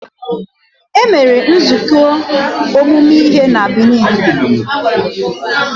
E mere nzukọ ọmụmụ ihe na Benin.